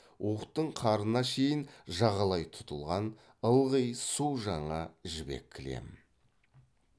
уықтың қарына шейін жағалай тұтылған ылғи су жаңа жібек кілем